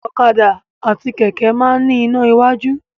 Ọ̀kadà àti kẹ̀kẹ́ máa ń ní iná iwájú.